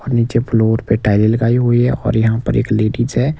और नीचे फ्लोर पे टाइल लगाई हुई है और यहां पर एक लेडीज है।